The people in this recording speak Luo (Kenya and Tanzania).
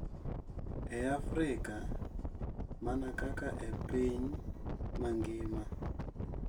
E Afrika, mana kaka e piny mangima,